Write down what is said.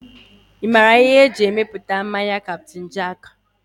Ị maara ihe eji emepụta mmanya Captain jack?